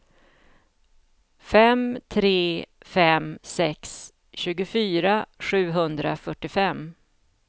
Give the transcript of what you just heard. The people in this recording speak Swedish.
fem tre fem sex tjugofyra sjuhundrafyrtiofem